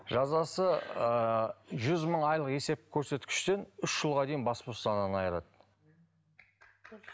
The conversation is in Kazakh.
жазасы ыыы жүз мың айлық есептік көрсеткіштен үш жылға дейін бас бостандығынан айырады